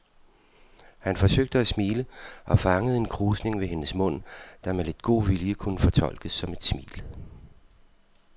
Han forsøgte at smile og fangede en krusning ved hendes mund, der med lidt god vilje kunne fortolkes som et smil.